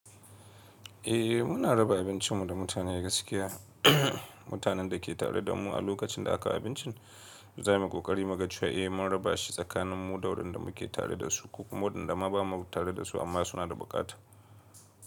Eh muna raba abincin mu da mutane gaskiya. Mutanen da ke tare da mu a lokacin da aka abincin, za mu yi ƙoƙari muga cewa eh mun raba shi tsakanin mu da waɗanda muke tare da su ko kuma waɗanda ba mu tare da su amma suna da buƙata.